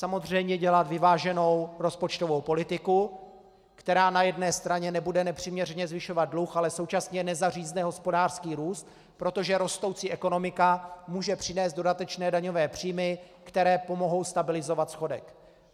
Samozřejmě dělat vyváženou rozpočtovou politiku, která na jedné straně nebude nepřiměřeně zvyšovat dluh, ale současně nezařízne hospodářský růst, protože rostoucí ekonomika může přinést dodatečné daňové příjmy, které pomohou stabilizovat schodek.